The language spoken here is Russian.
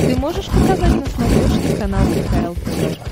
ты можешь показать на смотрешке канал кхл тв